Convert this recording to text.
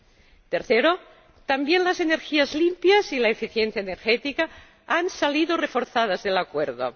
En tercer lugar, también las energías limpias y la eficiencia energética han salido reforzadas con el acuerdo.